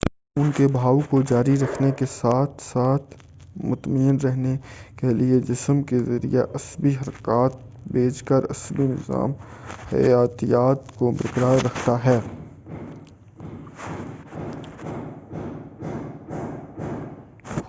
خون کے بہاؤ کو جاری رکھنے کے ساتھ-ساتھ مطمئن رکھنے کیلئے جسم کے ذریعہ عصبی حرکات بھیج کر عصبی نظام حیاتیات کو برقرار رکھتا ہے